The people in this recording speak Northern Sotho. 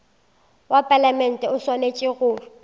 wa palamente o swanetše go